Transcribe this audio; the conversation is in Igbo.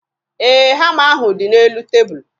Ee, hama ahụ dị n'elu tebulu